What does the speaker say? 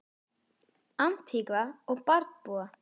Antígva og Barbúda